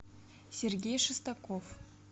сергей шестаков